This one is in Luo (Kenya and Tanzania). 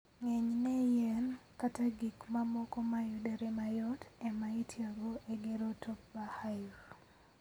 Ng'enyne, yien kata gik mamoko ma yudore mayot ema itiyogo e gero Top-Bar Hive.